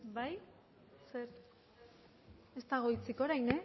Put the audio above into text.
bai ez dago hitzik orain